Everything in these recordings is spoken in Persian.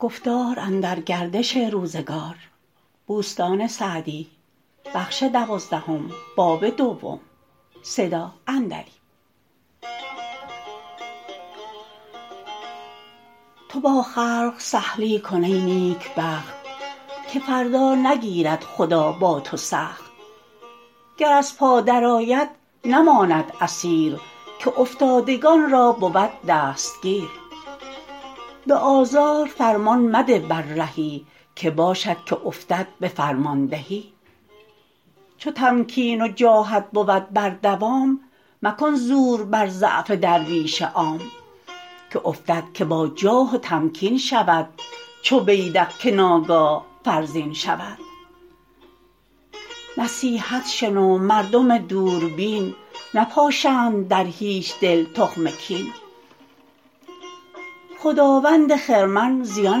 تو با خلق سهلی کن ای نیکبخت که فردا نگیرد خدا با تو سخت گر از پا در آید نماند اسیر که افتادگان را بود دستگیر به آزار فرمان مده بر رهی که باشد که افتد به فرماندهی چو تمکین و جاهت بود بر دوام مکن زور بر ضعف درویش عام که افتد که با جاه و تمکین شود چو بیدق که ناگاه فرزین شود نصیحت شنو مردم دوربین نپاشند در هیچ دل تخم کین خداوند خرمن زیان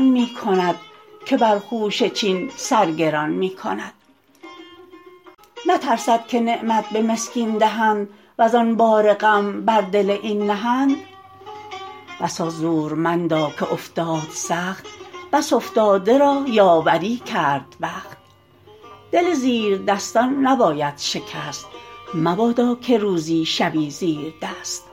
می کند که بر خوشه چین سر گران می کند نترسد که نعمت به مسکین دهند وزآن بار غم بر دل این نهند بسا زورمندا که افتاد سخت بس افتاده را یاوری کرد بخت دل زیر دستان نباید شکست مبادا که روزی شوی زیردست